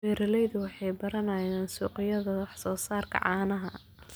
Beeraleydu waxay baranayaan suuqyada wax soo saarka caanaha.